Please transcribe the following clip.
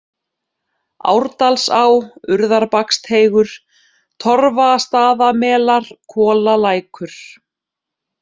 Árdalsá, Urðarbaksteigur, Torfastaðamelar, Kolalækur